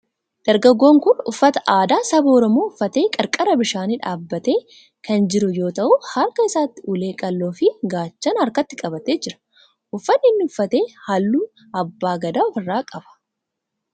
Dargaggoon kun uffata aadaa saba Oromoo uffatee qarqara bishaanii dhabbatee kan jiru yoo ta'u harka isaatti ulee qal'oo fi gaachana harkatti qabatee jira. Uffanni inni uffate halluu abbaa Gadaa of irraa qaba.